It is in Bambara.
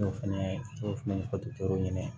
N y'o fɛnɛ fɔ dɔkitɛro ye